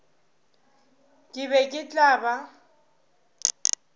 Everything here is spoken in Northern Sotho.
ke be ke tla ba